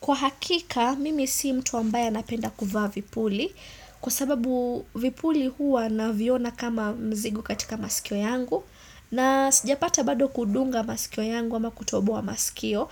Kwa hakika, mimi sii mtu ambaye anapenda kuvaa vipuli, kwa sababu vipuli huwa naviona kama mzigo katika masikio yangu, na sijapata bado kudunga masikio yangu ama kutoboa masikio.